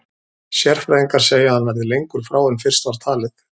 Sérfræðingar segja að hann verði lengur frá en fyrst var talið.